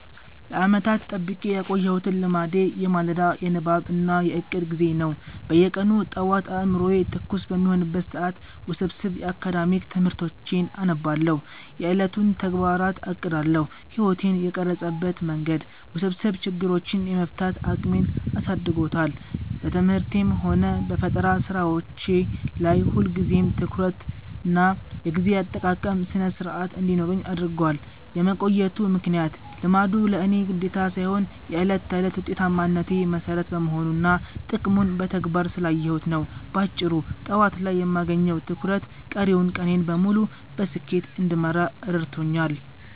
ለዓመታት ጠብቄ ያቆየሁት ልማዴ የማለዳ የንባብ እና የዕቅድ ጊዜ ነው። በየቀኑ ጠዋት አእምሮዬ ትኩስ በሚሆንበት ሰዓት ውስብስብ የአካዳሚክ ትምህርቶቼን አነባለሁ፤ የዕለቱንም ተግባራት አቅዳለሁ። ሕይወቴን የቀረጸበት መንገድ፦ ውስብስብ ችግሮችን የመፍታት አቅሜን አሳድጎታል። በትምህርቴም ሆነ በፈጠራ ሥራዎቼ ላይ ሁልጊዜም ትኩረትና የጊዜ አጠቃቀም ሥነ-ሥርዓት እንዲኖረኝ አድርጓል። የመቆየቱ ምክንያት፦ ልማዱ ለእኔ ግዴታ ሳይሆን የዕለት ተዕለት ውጤታማነቴ መሠረት በመሆኑና ጥቅሙን በተግባር ስላየሁት ነው። ባጭሩ፤ ጠዋት ላይ የማገኘው ትኩረት ቀሪውን ቀኔን በሙሉ በስኬት እንድመራ ረድቶኛል።